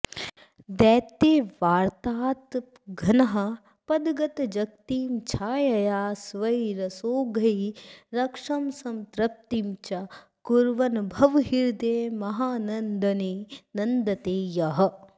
दैत्यव्रातातपघ्नः पदगतजगतीं छायया स्वै रसौघै रक्षंस्तृप्तिं च कुर्वन्भवहृदयमहानन्दने नन्दते यः